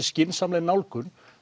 skynsamleg nálgun